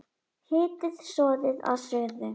Hitið soðið að suðu.